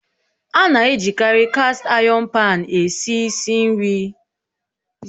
A na-ejikarị kast ayọn paan esi ísì nri n'ihi na ọna ikesa okpomọkụ nke ọma